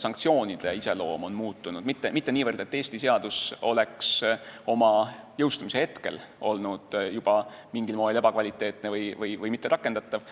sanktsioonide iseloom on muutunud, mitte niivõrd see, et Eesti seadus oleks juba oma jõustumise hetkel olnud mingil moel ebakvaliteetne või mitterakendatav.